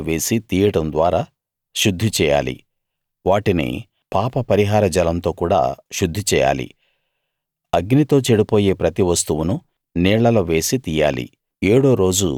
మంటల్లో వేసి తీయడం ద్వారా శుద్ధి చేయాలి వాటిని పాపపరిహార జలంతో కూడా శుద్ధి చేయాలి అగ్నితో చెడిపోయే ప్రతి వస్తువును నీళ్లలో వేసి తీయాలి